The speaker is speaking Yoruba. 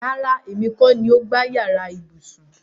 Rárá, èmi kọ́ ni o gbá yàrá ibùsùn